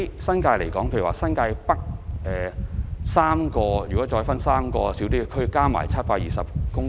新界北新市鎮分為3個小區，合共佔地720公頃。